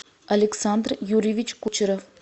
александр юрьевич кучеров